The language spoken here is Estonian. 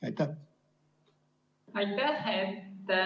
Aitäh!